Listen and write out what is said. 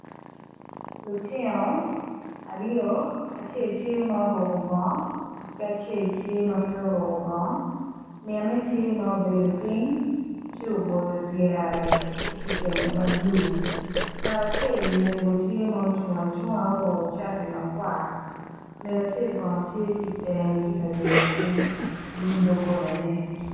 Lutino aryo acel tye ma oruko bongo ki acel tye ma pe oruko bongo mine tye ma obedo ping ci oboyo pyere ki kitenge mablue ngat acel mego tye ma ocung acunga ma oruko cati makwar mego acel kono tye ki tenge tye ka yweo ping i nyim dogola ne.